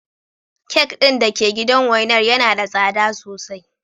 Kek din da ke gidan wainar yana da tsada sosai.